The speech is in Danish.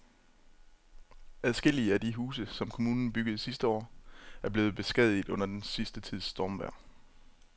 Adskillige af de huse, som kommunen byggede sidste år, er blevet beskadiget under den sidste tids stormvejr.